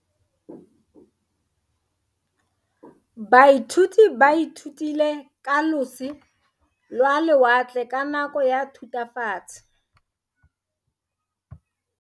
Baithuti ba ithutile ka losi lwa lewatle ka nako ya Thutafatshe.